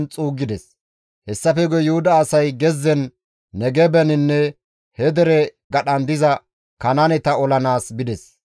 Hessafe guye Yuhuda asay gezzen, Negebeninne he dere gadhan diza Kanaaneta olanaas bides.